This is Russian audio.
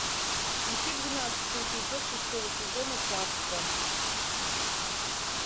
включи двенадцатый эпизод шестого сезона царство